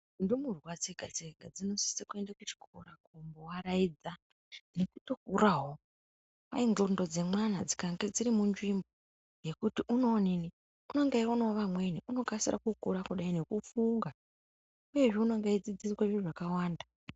Ndumurwa dzega dzega dzinosisa kuenda kuchikora kumboaraidza nekutokurawo. Kwai ndxondo dzemwana dzikange dziri munzvimbo yekuti unonga eyionawo vamweni unokasira kukura kudai nekufunga une edzidziswa zviro zvakawanda.